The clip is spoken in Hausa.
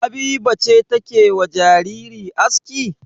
Habiba ce take wa jariri aski?